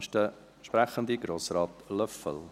Als nächster Sprecher, Grossrat Löffel.